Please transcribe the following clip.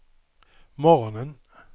morgonen